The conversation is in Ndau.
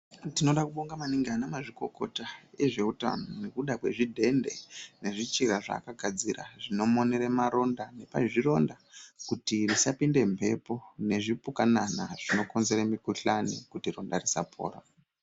Tinoda kubonga maningi anamazvikokota, ezvewutano nekuda kwezvidende nezvichira zvakagadzira, zvinomonere maronda nepazvironda kuti risapinde mbepo, nezvipukanana zvinokonzere mikhuhlane kuti ronda risapora.